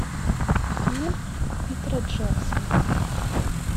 фильм питера джексона